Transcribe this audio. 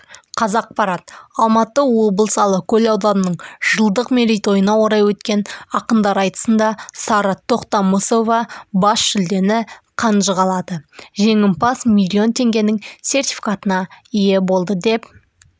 қазақпарат алматы облысыалакөл ауданының жылдық мерейтойына орай өткен ақындар айтысында сара тоқтамысовабас жүлдені қанжығалады жеңімпаз миллион теңгенің сертификатына ие болды деп